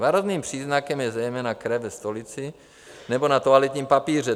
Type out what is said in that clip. Varovným příznakem je zejména krev ve stolici nebo na toaletním papíře.